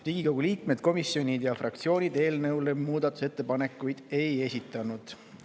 Riigikogu liikmed, komisjonid ja fraktsioonid eelnõu kohta muudatusettepanekuid ei esitanud.